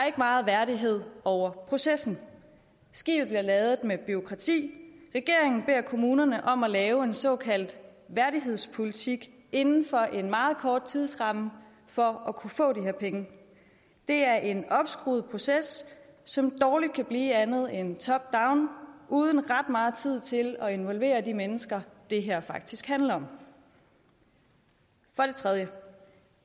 ikke meget værdighed over processen skibet bliver ladet med bureaukrati regeringen beder kommunerne om at lave en såkaldt værdighedspolitik inden for en meget kort tidsramme for at kunne få de her penge det er en opskruet proces som dårlig kan blive andet end top down uden ret meget tid til at involvere de mennesker det her faktisk handler om for det tredje